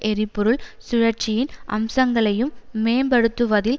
எரிபொருள் சுழற்சியின் அம்சங்களையும் மேம்படுத்துவதில்